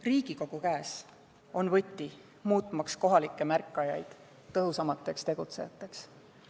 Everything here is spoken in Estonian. Riigikogu käes on võti, muutmaks kohalikud märkajad tõhusamateks tegutsejateks.